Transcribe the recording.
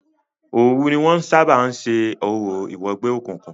Òòru ní wọn ń sábà ń ṣe orò ìwẹgbẹ́ òkùnkun.